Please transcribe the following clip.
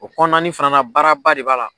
O kɔnɔna ni fɛnɛ baaraba de b'a la